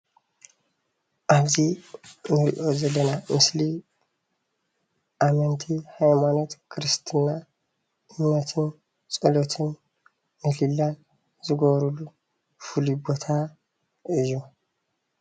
ኣብ'ዚ እንሪኦ ዘለና ምስሊ ኣመንቲ ሃይማኖት ክርስትና እምነትን ፀሎትን ምህሌላን ዝገብርሉ ፍሉይ ቦታ እዩ፡፡